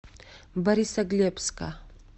борисоглебска